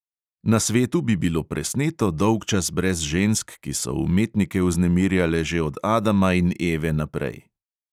Na svetu bi bilo presneto dolgčas brez žensk, ki so umetnike vznemirjale že od adama in eve naprej.